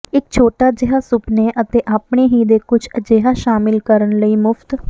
ਇੱਕ ਛੋਟਾ ਜਿਹਾ ਸੁਪਨੇ ਅਤੇ ਆਪਣੇ ਹੀ ਦੇ ਕੁਝ ਅਜਿਹਾ ਸ਼ਾਮਿਲ ਕਰਨ ਲਈ ਮੁਫ਼ਤ